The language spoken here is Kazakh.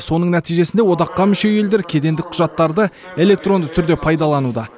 соның нәтижесінде одаққа мүше елдер кедендік құжаттарды электронды түрде пайдалануда